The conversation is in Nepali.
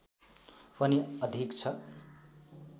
पनि अधिक छ